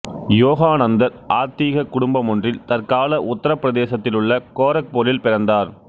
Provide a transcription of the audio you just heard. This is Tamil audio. யோகானந்தர் ஆத்திகக் குடும்பமொன்றில் தற்கால உத்தரப் பிரதேசத்திலுள்ள கோரக்பூரில் பிறந்தார்